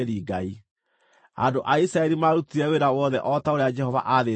Andũ a Isiraeli maarutire wĩra wothe o ta ũrĩa Jehova aathĩte Musa.